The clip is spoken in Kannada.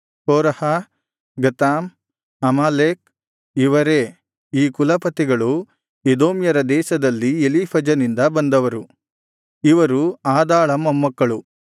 ಕೋರಹ ಗತಾಮ್ ಅಮಾಲೇಕ್ ಇವರೇ ಈ ಕುಲಪತಿಗಳು ಎದೋಮ್ಯರ ದೇಶದಲ್ಲಿದ್ದ ಎಲೀಫಜನಿಂದ ಬಂದವರು ಇವರು ಆದಾಳ ಮೊಮ್ಮಕ್ಕಳು